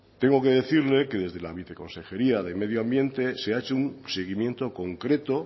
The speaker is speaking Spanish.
tengo que decirle que desde la viceconsejería de medio ambiente se ha hecho un seguimiento concreto